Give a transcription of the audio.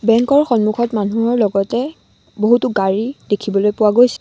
বেঙ্কৰ সন্মুখত মানুহৰ লগতে বহুতো গাড়ী দেখিবলৈ পোৱা গৈছে।